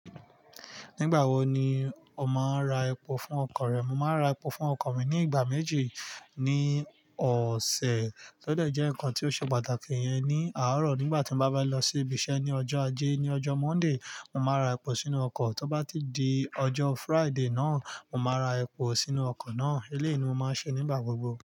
Nígbà wo ni o máa ń ra epo fún ọkọ̀ rẹ? Mo máa ń ra epo fún ọkọ̀ mi ní ìgbà méjì ní ọ̀sẹ̀. Ó dẹ̀ jẹ́ nǹkan tó ṣe pàtàkì yẹn ní àárọ̀ nígbà tí mo bá fẹ́ lọ sí ibi iṣẹ́ ní ọjọ́ Ajé, ní ọjọ́ Monday, mo máa ra epo sínú ọkọ̀. Tọ bá ti di ọjọ́ Friday náà, mo máa ra epo sínú ọkọ̀ náà. Eléèni mo máa ṣe nígbà gbogbo.